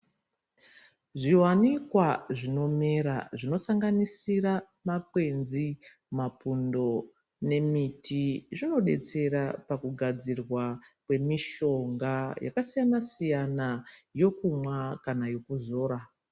Zvi wanikwa zvino mera zvino sanganisira makwenzi ma pundo ne miti zvino detsera paku gadzirwa kwe mishonga yaka siyana siyana yokumwa kana yoku zora.